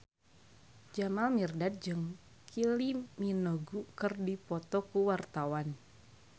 Jamal Mirdad jeung Kylie Minogue keur dipoto ku wartawan